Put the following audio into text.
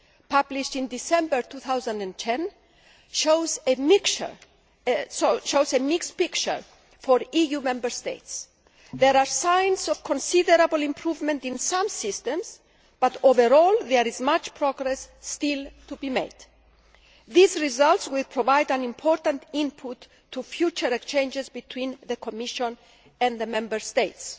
published in December 2010, shows a mixed picture for EU Member States. There are signs of considerable improvement in some systems but, overall, there is much progress still to be made. These results will provide an important input to future exchanges between the Commission and the Member States.